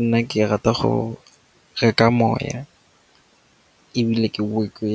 Nna ke rata go reka moya ebile ke boe ke